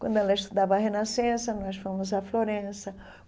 Quando ela estudava a Renascença, nós fomos à Florença.